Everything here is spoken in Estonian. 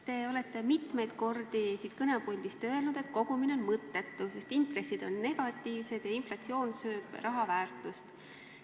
Te olete mitmeid kordi siit kõnepuldist öelnud, et kogumine on mõttetu, sest intressid on negatiivsed ja inflatsioon sööb raha väärtust.